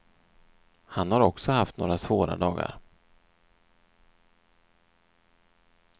Han har också haft några svåra dagar.